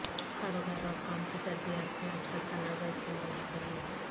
کاروبار اور کام کی ترتیبات میں اکثر تنازعہ استعمال ہوتے ہیں